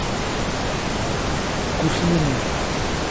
гуслина